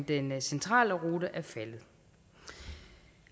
den centrale rute er faldet